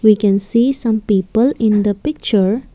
we can see some people in the picture.